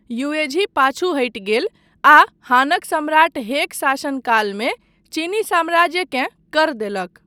Yuezhi पाछू हटि गेल आ हानक सम्राट हेक शासनकालमे चीनी साम्राज्यकेँ कर देलक।